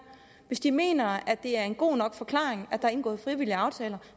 hvis de mener at det er en god nok forklaring at der er indgået frivillige aftaler